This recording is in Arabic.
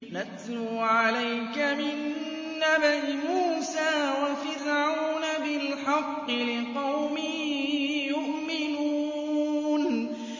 نَتْلُو عَلَيْكَ مِن نَّبَإِ مُوسَىٰ وَفِرْعَوْنَ بِالْحَقِّ لِقَوْمٍ يُؤْمِنُونَ